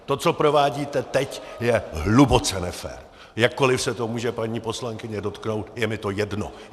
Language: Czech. To, co provádíte teď, je hluboce nefér, jakkoli se to může paní poslankyně dotknout - je mi to jedno.